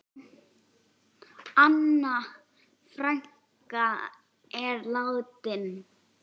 Anna frænka er látin.